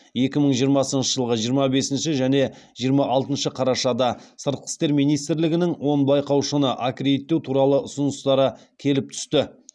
екі мың жиырмасыншы жылғы жиырма бесінші және жиырма алтыншы қарашада сыртқы істер министрлігінің он байқаушыны аккредиттеу туралы ұсыныстары келіп түсті